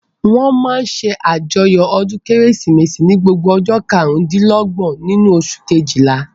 Wọ́n máa n ṣe àjọyọ̀ ọdún kérésìmesì ní gbogbo ọjọ́ karùn-dín-lọ́gbọ̀n nínú oṣù kejìlá